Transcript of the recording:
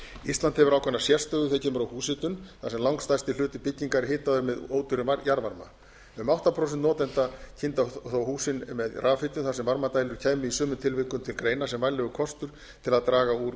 ísland hefur ákveðna sérstöðu þegar kemur að húshitun þar sem langstærsti hluti bygginga er hitaður með ódýrum jarðvarma um átta prósent notenda kynda þó hús sín með rafhitun þar sem varmadælur kæmu í sumum tilfellum til greina sem vænlegur kostur til að draga úr